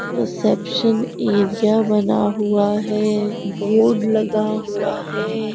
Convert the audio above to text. Reception area बना हुआ है बोर्ड लगा हुआ है।